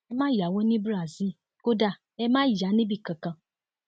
ẹ má yáwó ní brazil kódà ẹ má yà níbì kankan